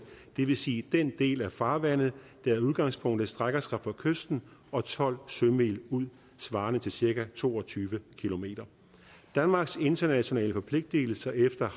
det vil sige den del af farvandet der i udgangspunktet strækker sig fra kysten og tolv sømil ud svarende til cirka to og tyve km danmarks internationale forpligtelser efter